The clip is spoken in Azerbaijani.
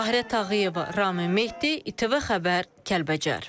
Tahirə Tağıyeva, Ramin Mehdi, İTV Xəbər, Kəlbəcər.